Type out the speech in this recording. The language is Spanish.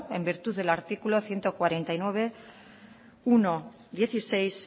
en virtud del artículo ciento cuarenta y nueve punto uno punto dieciséis